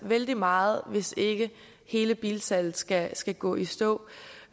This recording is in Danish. vældig meget hvis ikke hele bilsalget skal skal gå i stå